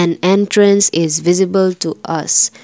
an entrance is visible to us.